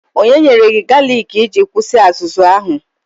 Onye nyere gị galiki iji kwụsị azụzụ ahụ?